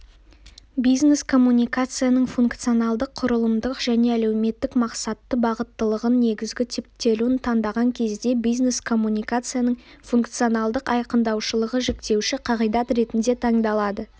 бизнес-коммуникацияның функционалдық-құрылымдық және әлеуметтік-мақсатты бағыттылығының негізгі типтелуін таңдаған кезде бизнес-коммуникацияның функционалдық айқындаушылығы жіктеуші қағидат ретінде таңдалады